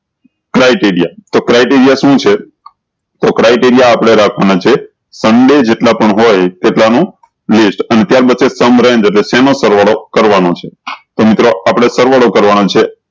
criteria તો criteria શું છે તો criteria આપળે રખવાના છે સન્ડે કેટલા પણ હોય તેટલા નું અને ત્યાર range એટલે સેમા સરવાળો કરવાનું છે તો મિત્રો આપળે સરવાળો કરવાના છે